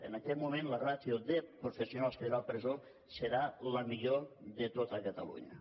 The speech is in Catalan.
en aquest moment la ràtio de professionals que hi haurà a la presó serà la millor de tot catalunya